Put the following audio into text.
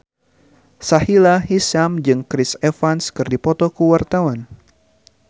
Sahila Hisyam jeung Chris Evans keur dipoto ku wartawan